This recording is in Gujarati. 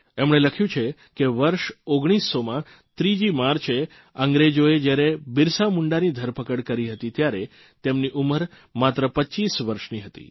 એમણે લખ્યું છે કે વર્ષ 1900માં 3જી માર્ચે અંગ્રેજોએ જયારે બિરસા મુંડાની ધરપકડ કરી હતી ત્યારે તેમની ઉંમર માત્ર 25 વર્ષની હતી